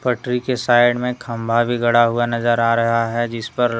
tree side में खंभा भी गड़ा हुआ नजर आ रहा है जिस पर--